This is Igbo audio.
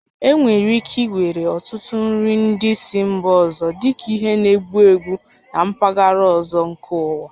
E nwèrè ike iwere ọtụtụ nri ndị si mba ọzọ dịka ihe na-egbu egbu na mpaghara ọzọ nke ụwa